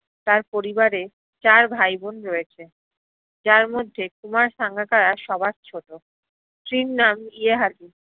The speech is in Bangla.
তার পরিবারে চার ভাই বোন রয়েছে যার মধ্যে কুমার সাঙ্গাকারা সবার ছ্টো স্ত্রীর নাম ইহেয়ালি